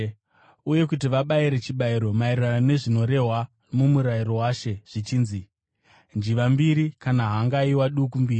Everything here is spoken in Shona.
uye kuti vabayire chibayiro maererano nezvinorehwa muMurayiro waShe zvichinzi: “njiva mbiri kana hangaiwa duku mbiri.”